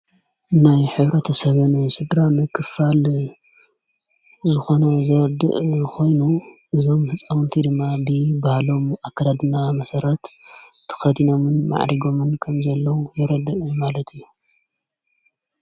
ናይ ኅብረተሰብ ሥድራም ክፋል ዝኾነ ዘርድእ ኾይኑ እዞም ሕፃዉንቲ ድማ ብ ባሃሎም ኣከዳድና መሠረት ተኸዲኖምን መዕሪጎምን ከም ዘለዉ የረድእ ማለት እዩ::